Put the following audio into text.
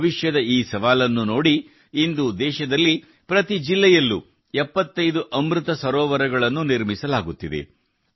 ಭವಿಷ್ಯದ ಈ ಸವಾಲನ್ನು ನೋಡಿ ಇಂದು ದೇಶದಲ್ಲಿ ಪ್ರತಿ ಜಿಲ್ಲೆಯಲ್ಲೂ 75 ಅಮೃತ ಸರೋವರಗಳನ್ನು ನಿರ್ಮಿಸಲಾಗುತ್ತಿದೆ